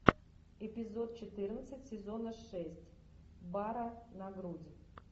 эпизод четырнадцать сезона шесть бар на грудь